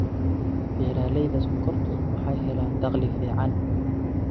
Beeralayda sonkortu waxay helaan dakhli fiican.